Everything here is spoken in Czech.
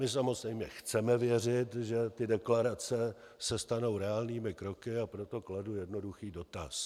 My samozřejmě chceme věřit, že ty deklarace se stanou reálnými kroky, a proto kladu jednoduchý dotaz.